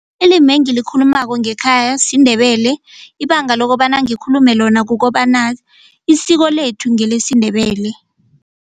IlimI engilikhulumako ngekhaya siNdebele ibanga lokobana ngikhulume lona kukobana isiko lethu ngelesiNdebele.